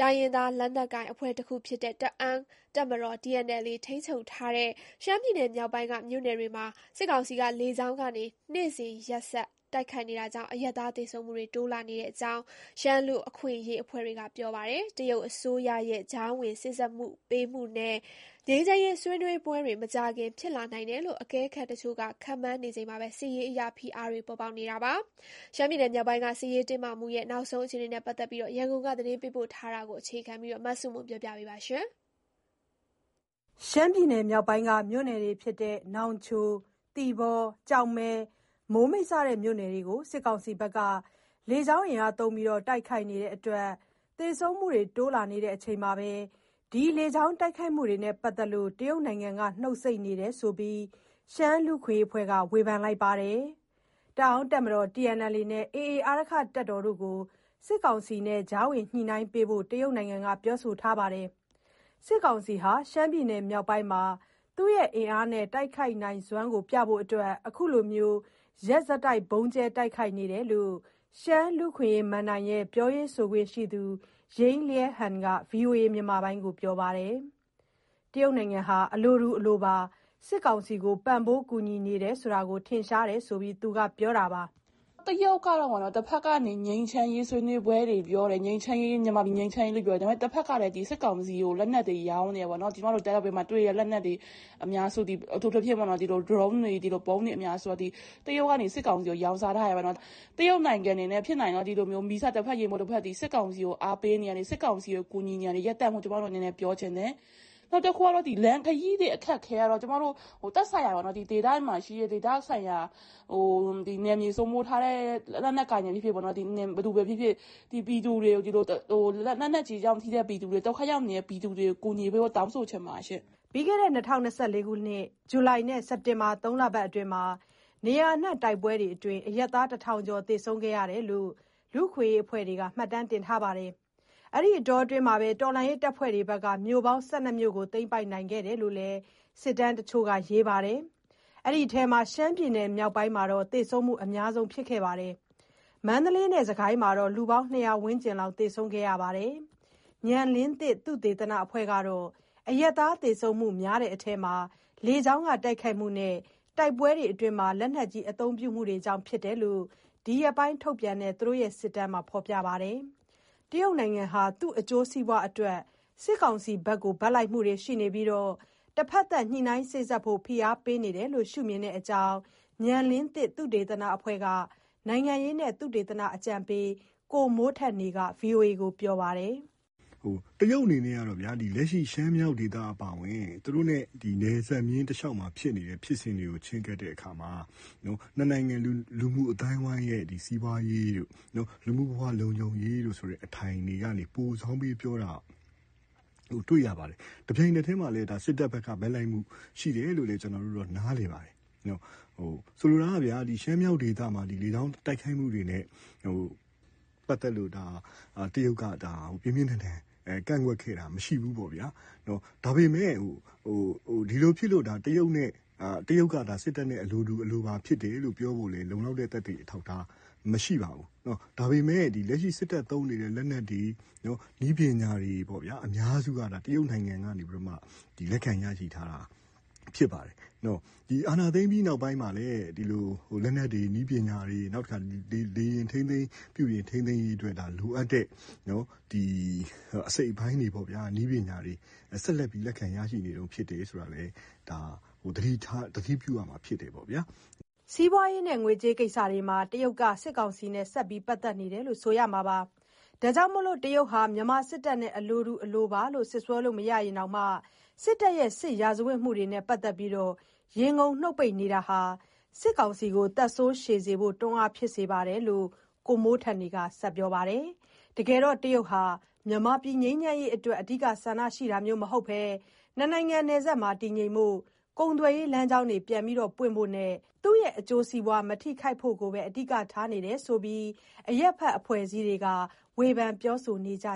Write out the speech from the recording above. တိုင်းရင်းသား လက်နက်ကိုင်အဖွဲ့တခုဖြစ်တဲ့ တအောင်းတပ်မတော် TNLA ထိန်းချုပ်ထားတဲ့ ရှမ်းပြည်နယ်မြောက်ပိုင်းက မြို့နယ်တွေမှာ စစ်ကောင်စီက လေကြောင်းကနေ နေ့စဉ်ရက်ဆက် တိုက်ခိုက်နေတာကြောင့် အရပ်သား သေဆုံးမှုတွေ တိုးလာနေကြောင်း ရှမ်းလူ့အခွင့်အရေးအဖွဲ့တွေက ပြောပါတယ်။ တရုတ်အစိုးရရဲ့ ကြားဝင်စေ့စပ်ပေးမှုနဲ့ ငြိမ်းချမ်းရေး ဆွေးနွေးပွဲတွေ မကြာခင် ဖြစ်လာနိုင်တယ်လို့ အကဲခတ်တချို့က ခန့်မှန်းနေချိန်မှာပဲ စစ်ရေးအရ ဖိအားတွေလည်း ပေါ်ပေါက် နေတာပါ။ ရှမ်းပြည်နယ် မြောက်ပိုင်းက စစ်ရေးတင်းမာမှု နောက်ဆုံးအခြေအနေ ရန်ကုန်က သတင်းပေးပို့ ထားတာကို အခြေခံပြီး တင်ပြထားပါတယ်။ ရှမ်းပြည်နယ်မြောက်ပိုင်း မြို့နယ်တွေဖြစ်တဲ့ နောင်ချို၊ သီပေါ၊ ကျောက်မဲ၊ မိုးမိတ် စတဲ့မြို့နယ်တွေကို စစ်ကောင်စီက လေကြောင်းသုံးတိုက်ခိုက်နေတဲ့အတွက် သေဆုံးမှုတွေတိုးလာနေချိန်မှာ ဒီတိုက်ခိုက်မှု တွေနဲ့ပတ်သက်လို့ တရုတ်နိုင်ငံက နှုတ်ဆိတ်နေတယ်ဆိုပြီး ရှမ်းလူ့အခွင့်အရေးအဖွဲ့က ဝေဖန်ပါတယ်။ တအောင်းတပ်မတော် TNLA နဲ့ AA အာရက္ခတပ်တို့ကို စစ်ကောင်စီနဲ့ ကြားဝင်ညှိနှိုင်းပေးဖို့ တရုတ်နိုင်ငံက ပြောထားပါတယ်။ စစ်ကောင်စီဟာ ရှမ်းပြည်နယ်မြောက်ပိုင်းမှာ သူ့ရဲ့ အင်အားနဲ့တိုက်ခိုက်နိုင်စွမ်းကိုပြဖို့ အခုလို ရက်ဆက် ဗုံးကြဲတိုက်ခိုက်နေတာလို့ ရှမ်းလူ့အခွင့်အရေးမဏ္ဍိုင်ရဲ့ ပြောရေးဆိုခွင့်ရှိသူ ယိင်းလျန်းဟန် က ဗွီအိုအေကို ပြောပါတယ်။တရုတ်နိုင်ငံကလည်း အလိုတူ အလိုပါ စစ်ကောင်စီကို ပံ့ပိုးကူညီနေတယ်ဆိုတာ ထင်ရှားတယ်ဆိုပြီး ပြောပါတယ်။ "တရုတ်က တဘက်ကနေ ငြိမ်းချမ်းရေးဆွေးနွေးပွဲတွေပြောတယ်၊ မြန်မာပြည် ငြိမ်းချမ်းရေးကို ပြောတယ်။ ဒါပေမဲ့ တဘက်ကလည်း စစ်ကောင်စီကိုလက်နက်တွေ ရောင်းနေတယ်ပေါ့။ ကျမတို့ တအာင်းပြည်မှာတွေ့တဲ့ လက်နက်အများစုသည် အထူးသဖြင့် ဗုံးတွေ၊ ဒရုန်းတွေသည် တရုတ်က စစ်ကောင်စီကို ရောင်းစားထားတယ်ပေါ့။ တရုတ်နိုင်ငံအနေနဲ့ ဖြစ်နိုင်ရင်တော့ ဒီလို မီးစတဖက်၊ ရေမှုတ်တဖက် စစ်ကောင်စီကို အားပေးတာ၊ ကူညီနေတာတွေ ရပ်တန့်ဖို့ ကျမတို့အနေနဲ့ ပြောချင်တယ်။" ပြီးခဲ့တဲ့ ၂၀၂၄ ဇူလိုင်နဲ့ စက်တင်ဘာ သုံးလအတွင်းမှာ နေရာအနှံ့က တိုက်ပွဲတွေအတွင်း အရပ်သား တထောင်ကျော် သေဆုံးခဲ့တယ်လို့ လူ့အခွင့်အရေးအဖွဲ့တွေ မှတ်တမ်းတင်ထားပါတယ်။ အဲဒီအတောအတွင်း တော်လှန်ရေးတပ်ဖွဲ့တွေက မြို့ပေါင်း ၁၂ မြို့ကို သိမ်းပိုက်နိုင်ခဲ့တယ်လို့ စစ်တမ်း တချို့က ရေးပါတယ်။ အဲဒီအထဲမှာ ရှမ်းပြည်နယ်မြောက်ပိုင်းက သေဆုံးမှုအများဆုံး ဖြစ်ခဲ့ပါတယ်။ မန္တလေးနဲ့စစ်ကိုင်းမှာတော့ လူပေါင်း ၂၀၀ ဝန်းကျင်လောက် သေဆုံးခဲ့ပါတယ်။ ဉာဏ်လင်းသစ် သုတေသနအဖွဲ့ကတော့ အရပ်သားသေဆုံးမှုများတဲ့အထဲမှာ လေကြောင်းတိုက်ခိုက်မှုနဲ့ တိုက်ပွဲအတွင်း လက်နက်ကြီး အသုံးပြုမှုတွေကြောင့် ဖြစ်တယ်လို့ ဒီရက်ပိုင်းထုတ်ပြန်နေတဲ့ သူတို့ရဲ့ စစ်တမ်းတွေမှာ ဖော်ပြထားပါတယ်။ တရုတ်နိုင်ငံဟာ သူ့အကျိုးစီးပွားအတွက် စစ်ကောင်စီဘက်က ဘက်လိုက်နေပြီး တဘက်သတ် စေ့စပ်ရေး ဖိအားပေးနေတယ်လို့ မြင်တဲ့အကြောင်း ဉာဏ်လင်းသစ်သုတေသနအဖွဲ့က နိုင်ငံရေးနဲ့ သုတေသနအကြံပေး ကိုမိုးထက်နေက VOA ကို ပြောပါတယ်။ "တရုတ်အနေနဲ့ လက်ရှိ ရှမ်းမြောက်ဒေသအပါအဝင် သူတို့နဲ့နယ်စပ်မျဉ်းတလျှောက်က ဖြစ်စဉ်တွေကို ချဉ်းကပ်တဲ့အခါမှာ နှစ်နိုင်ငံ လူမှုအသိုင်းအဝန်းရဲ့ စီးပွားရေးတို့ လူမှုဘဝ လုံခြုံရေးဆိုတဲ့ အထိုင်ကနေ ပိုစောင်းပြောတာ တွေ့ရပါတယ်။ တပြိုင်နက်တည်းမှာပဲ စစ်တပ်ဘက်က ဘက်လိုက်မှုရှိတယ်လို့ ကျနော်တို့က နားလည်ပါတယ်။ ဆိုလိုတာက ရှမ်းမြောက်ဒေသမှာ လေကြောင်းတိုက်ခိုက်မှုတွေနဲ့ ပက်သက်လို့ တရုတ်က ပြင်ပြင်းထန်ထန် ကန့်ကွက်ခဲ့တာမရှိဘူး။ ဒါပေမဲ့ ဒါဖြစ်လို့ တရုတ်က စစ်တပ်နဲ့အလိုတူပါလို့ ပြောဖို့ လုံလောက်တဲ့ သက်သေအထောက်အထား မရှိပါဘူး။ ဒါပေမဲ့ စစ်တပ်သုံးနေတဲ့ လက်နက်တွေ နည်းပညာအများစုက တရုတ်နိုင်ငံကနေ လက်ခံရယူထားတာ ဖြစ်ပါတယ်။ အာဏာသိမ်းပြီးနောက်မှာလည်း လက်နက်တွေ၊ နည်းပညာတွေ လေယာဉ် ထိန်းသိမ်းရေးအတွက် လိုအပ်တဲ့အစိတ်အပိုင်းတွေ ဆက်လက်ပြီး လက်ခံရနေတုန်း ဖြစ်တယ်ဆိုတာလည်း သတိပြုရမှာဖြစ်တယ်။" စီးပွားရေ၊ ငွေကြေးကိစ္စတွေမှာ တရုတ်က စစ်ကောင်စီနဲ့ ဆက်ပြီး ပတ်သက်နေတယ်လို့ ဆိုရမှာပါ။ ဒါကြောင့် တရုတ်ဟာ မြန်မာစစ်တပ်နဲ့ အလိုတူပါလို့ စွတ်စွဲလို့ မရရင်တောင်မှ စစ်တပ်ရဲ့ စစ်ရာဇာဝတ်မှုတွေနဲ့ပတ်သက်ပြီး ရေငုံနှုတ်ပိတ်နေတာဟာ စစ်တပ်ကိုသက်ဆိုးရှည်စေဖို့ တွန်းအားဖြစ်နေကြောင်း ကိုမိုးထက်နေက ပြောပါတယ်။ တကယ်တော့ တရုတ်ဟာ မြန်မာပြည်ငြိမ်းချမ်းရေးအတွက် အဓိက ဆန္ဒရှိတာမျိုးမဟုတ်ဘဲ နှစ်နိုင်ငံ နယ်စပ်မှာ တည်ငြိမ်ဖို့၊ ကုန်သွယ်ရေးလမ်းကြောင်း ပြန်ပွင့်ဖို့နဲ့ သူ့ရဲ့ အကျိုးစီးပွား မထိခိုက်ဖို့ကိုပဲ အဓိက ထားနေတယ်ဆိုပြီး အရပ်ဖက် အဖွဲ့အစည်းတွေက ဝေဖန်ပြောဆိုနေကြ